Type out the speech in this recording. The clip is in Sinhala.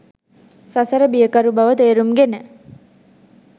සසර බියකරු බව තේරුම්ගෙන